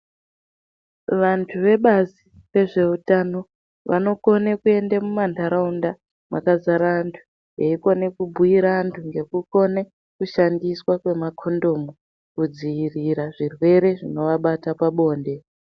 Vantu vebazi rezveutano vanokone kuende mumanharaunda mwakazara antu eikone kubhuyira antu ngekukone kushandiswa kwemakondomu kudziirire zvirwere zvinoabata pabonde.